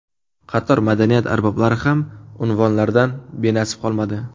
Qator madaniyat arboblari ham unvonlardan benasib qolmadi .